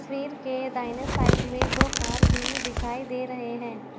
तस्वीर के दाहिने साइड में दो कार भी दिखाई दे रहे हैं।